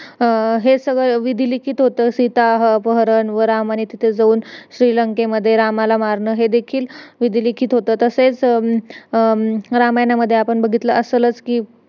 अं हे सगळं विधिलीखित होत सीताहरण व रामाने तिथं जाऊन श्री लंकेमध्ये रावणाला मारणं हे देखील विधिलिखित होत तसेच रामायणामध्ये आपण बघितलं असेलच कि